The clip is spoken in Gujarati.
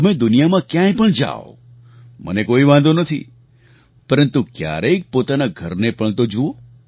તમે દુનિયામાં ક્યાંય પણ જાવ મને કોઈ વાંધો નથી પરંતુ ક્યારેક પોતાના ઘરને પણ તો જુઓ